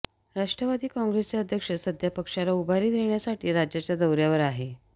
राष्ट्रवादी काँग्रेसचे अध्यक्ष सध्या पक्षाला उभारी देण्यासाठी राज्याच्या दौऱ्यावर आहे